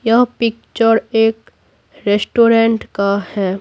यह पिक्चर एक रेस्टोरेंट का है।